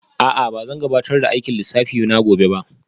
A'a ba zan gabatar da aikin lissafi na gobe ba